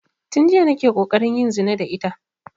Tun jiya nake ƙoƙarin yin zina da ita